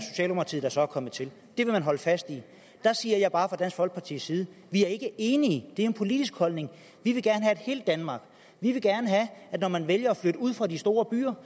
kommet til det vil man holde fast i der siger jeg bare at folkepartis side ikke er enige det er en politisk holdning vi vil gerne have et helt danmark vi vil gerne have at når man vælger at flytte ud fra de store byer